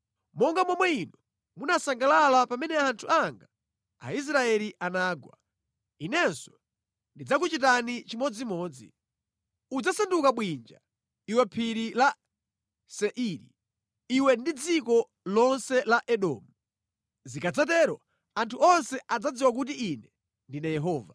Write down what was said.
Monga momwe inu munasangalala pamene anthu anga Aisraeli anagwa, Inenso ndidzakuchitani chimodzimodzi. Udzasanduka bwinja, iwe Phiri la Seiri, iwe ndi dziko lonse la Edomu. Zikadzatero anthu onse adzadziwa kuti Ine ndine Yehova.”